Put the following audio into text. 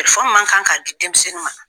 man kan k'a di denmisɛnnin ma.